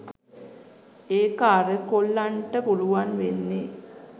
ඒක අර කොල්ලන්ට පුළුවන් වෙන්නේ